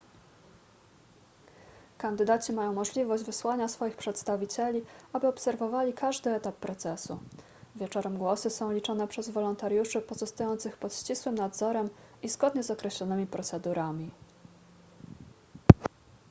kandydaci mają możliwość wysłania swoich przedstawicieli aby obserwowali każdy etap procesu wieczorem głosy są liczone przez wolontariuszy pozostających pod ścisłym nadzorem i zgodnie z określonymi procedurami